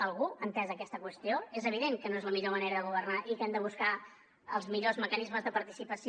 algú ha entès aquesta qüestió és evident que no és la millor manera de governar i que hem de buscar els millors mecanismes de participació